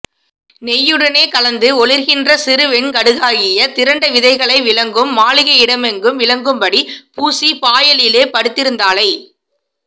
நெய்யுடனே கலந்து ஒளிர்கின்ற சிறுவெண் கடுகாகிய திரண்ட விதைகளை விளங்கும் மாளிகையிடமெங்கும் விளங்கும்படி பூசிப் பாயலிலே படுத்திருந்தாளை